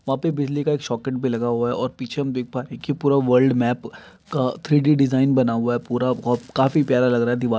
वहां पे बिजली का एक सॉकेट भी लगा हुआ है और पीछे हम देख पा रहे है कि पूरा वर्ल्ड मेप का थ्री डी डिजाइन बना हुआ है पूरा ओ काफी प्यारा लग रहा है दीवाल।